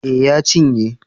Eh ya cinye